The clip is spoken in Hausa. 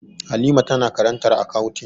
Halima tana karantar akawuntin